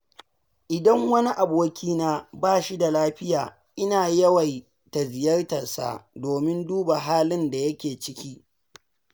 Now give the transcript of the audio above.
Idan wani abokina ba shi da lafiya, ina yawan ziyartarsa domin duba halin da yake ciki.